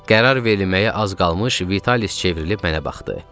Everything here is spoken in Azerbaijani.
Qərar verilməyə az qalmış, Vitalis çevrilib mənə baxdı.